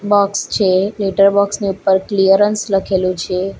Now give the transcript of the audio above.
Box છે લેટરબોક્સની ઉપ્પર ક્લિયરન્સ લખેલુ છે.